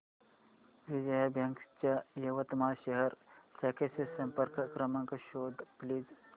Vijaya bank च्या यवतमाळ शहर शाखेचा संपर्क क्रमांक शोध प्लीज